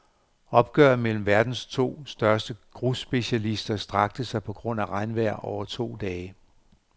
Opgøret mellem verdens to største grusspecialister strakte sig på grund af regnvejr over to dage.